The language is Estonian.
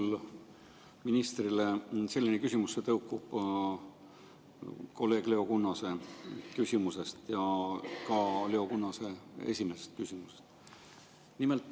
Mul on ministrile küsimus, mis tõukub kolleeg Leo Kunnase küsimusest ja ka Leo Kunnase esimesest küsimusest.